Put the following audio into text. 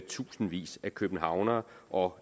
tusindvis af københavnere og